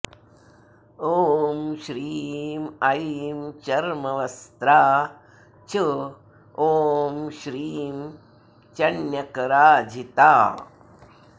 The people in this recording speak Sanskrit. ॐ श्रीं ऐं चर्मवस्त्रा च ॐ श्रीं चण्यकराजिता